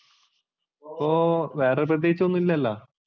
അപ്പോൾ വേറെ പ്രത്യേകിച്ചൊന്നുമില്ലല്ലോ?